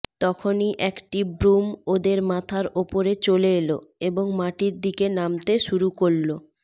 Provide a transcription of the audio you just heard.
তখনই একটি ব্রুম ওদের মাথার ওপরে চলে এলো এবং মাটির দিকে নামতে শুরু করল